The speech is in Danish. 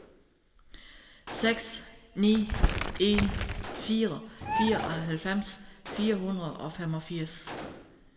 seks ni en fire fireoghalvfems fire hundrede og femogfirs